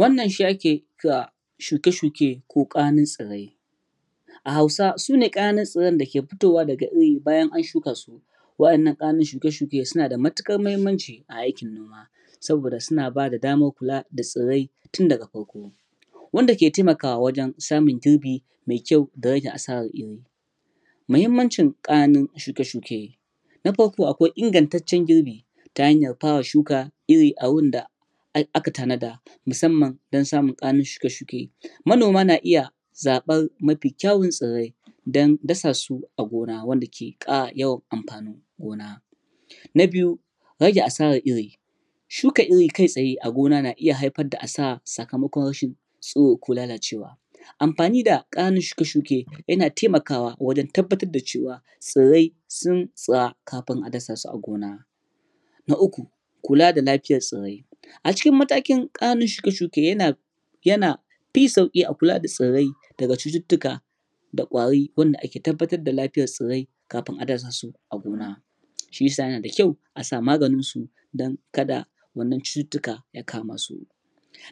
Wannan shi ake kira shuke-shuke ko ƙananun tsirrai. A Hausa, su ne ƙananun tsirran da ke fitowa daga iri bayan an shuka su. Waɗannan ƙananun shuke-shuken suna da matuƙar muhimmanci. a aikin noma saboda suna ba da damar kula da tsirrai tun daga farko. Wanda ke taimakawa wajen samun girbi mai kyau da rage asarar iri. Muhimmancin ƙananun shuke-shuke: Na farko akwai ingantaccen girbi, ta hanyar fara shuka iri a wurin da aka tanada. musamman don samun ƙananun shuke-shuke. Manoma na iya zaɓar mafi kyawun tsirrai Don dasa su a gona wanda ke ƙara yawan amfanin gona. Na biyu, rage asarar iri. Shuka iri kai tsaye a gona na iya haifar da asara sakamakon rashin tsiro ko lalacewa. amfani da ƙananun shuke-shuke yana taimakawa wajen tabbatar da cewa tsirrai tsantsa kafin a dasa su a gona. Na uku: Kula da lafiyar tsirrai. A cikin maatkin ƙananun shuke-shuke, yana yana fin sauƙi a kula da tsirrai, daga cututtuka da ƙwari wanda ake tabbatar da lafiyar tsirrai kafin a dasa su a gona. Shi ya sa yana da kyau a sa maganinsu don ka da wannan cututtuka ya kama su.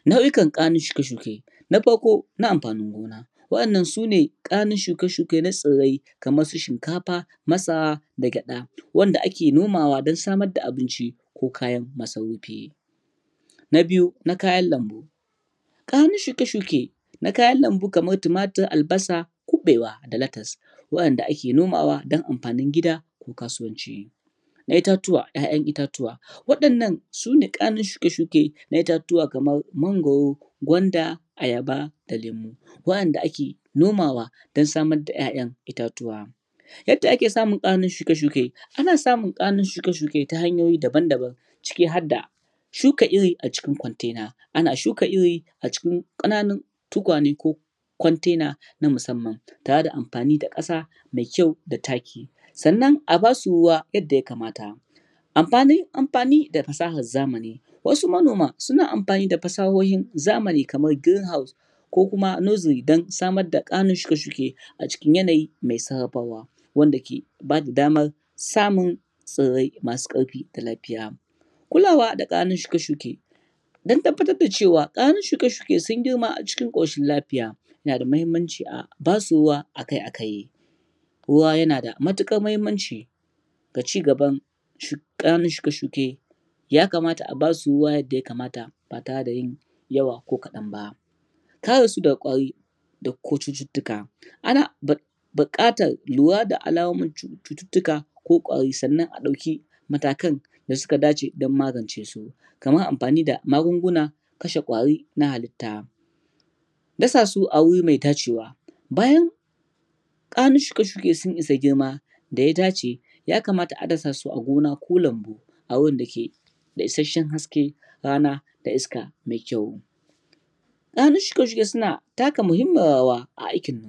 Nau'ikan ƙananun shuke-shuke: Na farko na amfanin gona. waɗannan su ne ƙananun shuke-shuke na tsirrai kamar su shinkafa, masara, da gyaɗa. Wanda ake nomawa don samar da abinci, ko kayan masarufi. Na biyu, na kayan lambu. Ƙananun shuke-shuke na kayan lambu kamar tumatir, albasa kuɓewa da latas. waɗanda ake nomawa don amfanin gida, da kasuwanci. Na itatuwa: ƴaƴan itatuwa Waɗannan sune ƙananun shuke-shuke na itatuwa kamar mangwaro, gwanda, ayaba, da lemu. Waɗanda ake nomawa don samar da ƴaƴan itatuwa. Yadda ake samun ƙananun shuke-shuke ana samun ƙananun shuke-shuke ta hanyoyi daban-daban. ciki har da: shuka iri a cikin kwantena. Ana shuka iri a cikin ƙananun tukwane ko kwantena na musamman. tare da amfani da ƙasa mai kyau da taki. Sannan a ba su ruwa yadda ya kamata. Amfani da fasahar zamani. Wasu manoman suna amfani da fasahohin zamani kamar su "Green House" ko kuma "Nursery" don samar da ƙananun shuke-shuke a cikin yanayi mai sabawa wanda ke ba da damar samun tsirrai masu ƙarfi da lafiya. Kulawa da ƙananun shuke-shuke, Don tabbatar da cewa ƙananun shuke-shuke sun girma cikin ƙoshin lafiaya, yana da muhimmanci a ba su ruwa a kai a kai. Ruwa yana da matuƙar muhimmanci, ga cigaban ƙananun shuke-shuke. Ya kamata a ba su ruwa yadda ya kamata, ba tare da ya yi yawa ko kaɗan ba. Kare su daga ƙwari, da kuma cututtuka. Ana buƙatar lura da alamonin cututtuka ko ƙwari, sannan a ɗauki matakan da suka dace don magance su. Kamar amfani da magungunan, kashe ƙwari na halitta. Dasa su a wuri mai dacewa: Bayan ƙananun shuke-shuke sun isa girman, da ya dace, ya kamata a dasa su a gona ko lambu. A wurin da ke da isasshen hasken rana da iska mai kyau. Ƙananun shuke-shuke suna taka muhimmiyar rawa a aikin,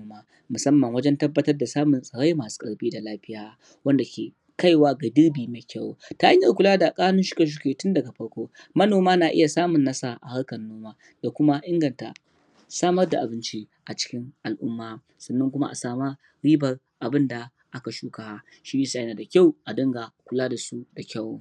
musamman wajen tabbatar da samun tsirrai masu ƙarfi da lafiya. Wanda ke kaiwa ga girbi mai kyau. Ta hanyar kula da ƙananun shuke-shuke tun daga farko Manoma na iya samun nasara a harkar noma da kuma inganta samar da abinci a cikin al'umma. sannan kuma a sama ribar abin da aka shuka. Shi ya sa yana da kyau, a dinga kula da su da kyau.